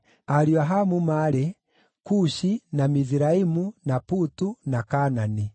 Ariũ a Hamu maarĩ: Kushi, na Miziraimu, na Putu, na Kaanani.